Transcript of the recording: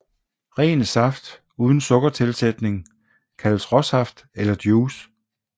Ren saft uden sukkertilsætning kaldes råsaft eller juice